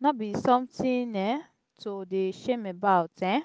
no be sometin um to dey shame about. um